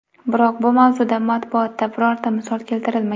Biroq bu mavzuda matbuotda birorta misol keltirilmagan.